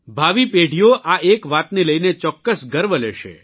ભાવી પેઢીઓ આ એક વાતને લઇને ચોક્કસ ગર્વ લેશે